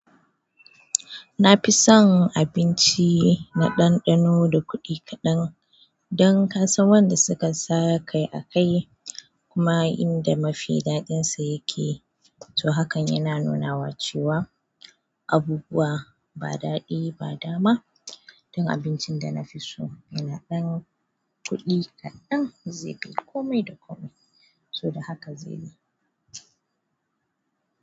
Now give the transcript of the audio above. Na fi son abinci na ɗanɗano da kuɗi kaɗan dan kasan wanda suka sa kai akai kuma inda mafi daɗinsa yake. To hakan yana nunawa cewa abubuwa ba daɗi ba dama. Dan abincin da na fi so yana ɗan kuɗi kaɗan zai kai kome da kome. To da haka zai yi.